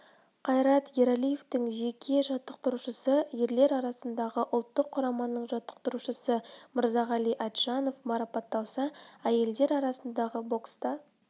қайрат ералиевтің жеке жаттықтырушысы ерлер арасындағы ұлттық құраманың жаттықтырушысы мырзағали айтжанов марапаталса әйелдер арасындағы бокста